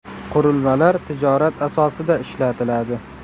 Qurilmalar tijorat asosida ishlatiladi.